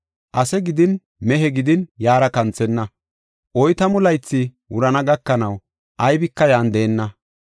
Ase gidin mehe gidin yaara kanthenna; oytamu laythi wurana gakanaw, aybika yan deenna.